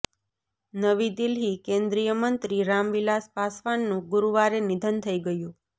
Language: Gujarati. નવી દિલ્લીઃ કેન્દ્રીય મંત્રી રામવિલાસ પાસવાનનુ ગુરુવારે નિધન થઈ ગયુ